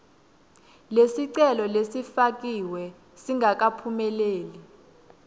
lesicelo lesifakiwe singakaphumeleli